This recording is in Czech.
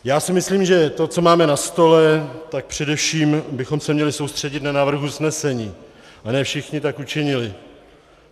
Já si myslím, že to, co máme na stole, tak především bychom se měli soustředit na návrh usnesení, a ne všichni tak učinili.